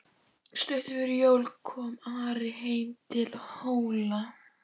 Stuttu fyrir jól kom Ari heim til Hóla.